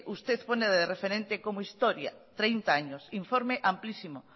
usted pone de referente como historia informe amplísimo